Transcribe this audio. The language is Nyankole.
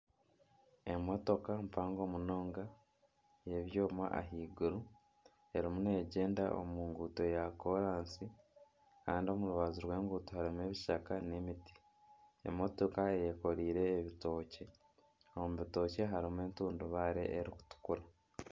Emotoka mpango munonga eyebyooma ahaiguru ,erimu n'egyenda omu nguuto ya kolansi Kandi omu rubaju rw'enguuto harimu ebishaka nana emiti emotoka eyekoreire ebitookye omu bitookye harimu entundubaare erikutukura.